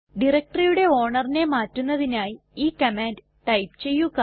directoryയുടെ ownerനെ മാറ്റുന്നതിനായി ഈ കമാൻഡ് ടൈപ്പ് ചെയ്യുക